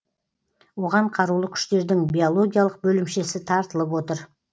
оған қарулы күштердің биологиялық бөлімшесі тартылып отыр